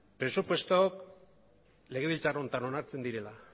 presupuestoak legebiltzar honetan onartzen direla